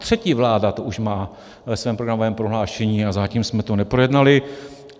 Třetí vláda to už má ve svém programovém prohlášení a zatím jsme to neprojednali.